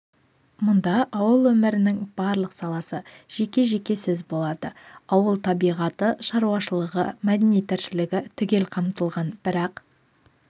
мұнда ауыл өмірінің барлық саласы жеке-жеке сөз болады ауыл табиғаты шаруашылығы мәдени тіршілігі түгел қамтылған бірақ